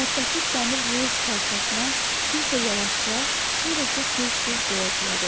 Həyətdəki dəmir rels parçasına kimsə yavaşca, sonra isə tez-tez döyəclədi.